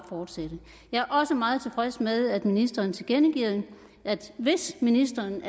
fortsætte jeg er også meget tilfreds med at ministeren tilkendegiver at hvis ministeren